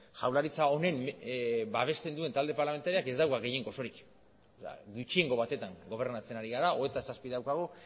jaurlaritza honen babesten duen talde parlamentarioak ez dauka gehiengo osorik gutxiengo batetan gobernatzen ari gara hogeita zazpi daukagu